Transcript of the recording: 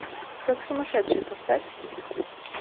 как сумасшедший поставь